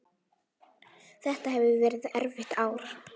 Þetta hefur verið erfitt ár.